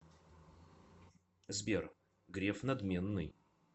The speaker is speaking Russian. сбер греф надменный